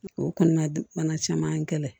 O kɔnɔna bana caman gɛlɛn